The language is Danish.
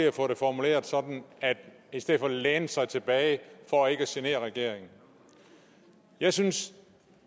at få formuleret sådan i stedet for at læne sig tilbage for ikke at genere regeringen jeg synes